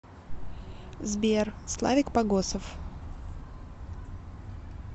сбер славик погосов